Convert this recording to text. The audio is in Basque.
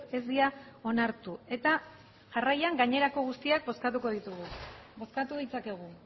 ez dira onartu eta jarraian gainerako guztiak bozkatuko ditugu bozkatu ditzakegu